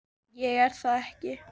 Ég er það ekki.